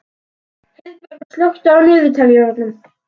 Heiðberg, slökktu á niðurteljaranum.